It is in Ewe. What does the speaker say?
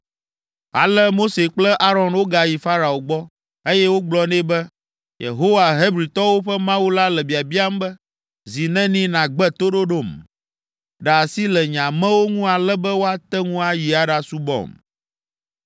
Ale Mose kple Aron wogayi Farao gbɔ, eye wogblɔ nɛ be, “Yehowa, Hebritɔwo ƒe Mawu la le biabiam be, ‘Zi neni nàgbe toɖoɖom? Ɖe asi le nye amewo ŋu ale be woate ŋu ayi aɖasubɔm.